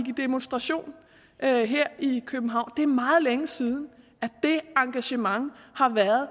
i demonstration her her i københavn det er meget længe siden at det engagement har været